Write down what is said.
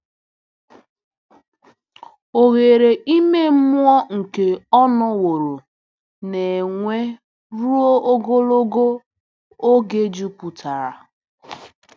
Oghere ime mmụọ nke ọ nọworo na-enwe ruo ogologo oge juputara.